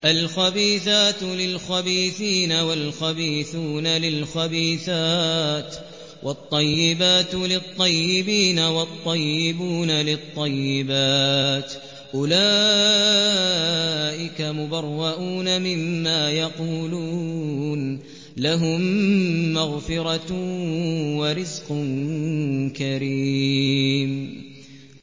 الْخَبِيثَاتُ لِلْخَبِيثِينَ وَالْخَبِيثُونَ لِلْخَبِيثَاتِ ۖ وَالطَّيِّبَاتُ لِلطَّيِّبِينَ وَالطَّيِّبُونَ لِلطَّيِّبَاتِ ۚ أُولَٰئِكَ مُبَرَّءُونَ مِمَّا يَقُولُونَ ۖ لَهُم مَّغْفِرَةٌ وَرِزْقٌ كَرِيمٌ